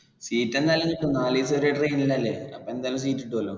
seat ഒക്കെ എന്തായാലും കിട്ടും നാലുദിവസം ഒരേ train ൽ അല്ലെ അപ്പൊ എന്തായാലും seat കിട്ടൂല്ലോ